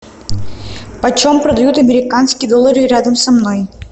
почем продают американские доллары рядом со мной